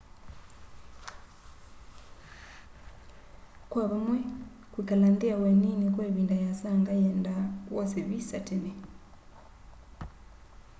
kwa vamwe kwĩkala nthĩ ya ũenĩnĩ kwa ĩvĩnda yĩasanga yĩenda wose vĩsa tene